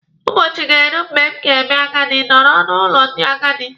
Ụbọchị ga-eru mgbe m ga-eme agadi nọrọ n'ụlọ ndị agadi.